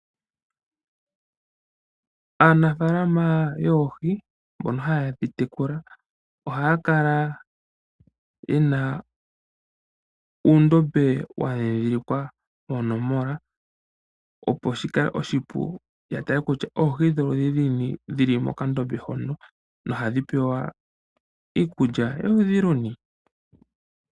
Aanafalama yoohi mboka hayi dhitekula ohaya kala yena uundombe wadhidhilikwa oonomola opo shikale oshipu yatale kutya oohi dholudhi luni dhili mokandombe hono no hadhi pewa iikulya yoludhi luni.